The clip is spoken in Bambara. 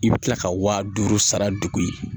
I bɛ kila ka wa duuru sara de ye